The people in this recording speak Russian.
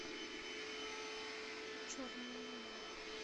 черная луна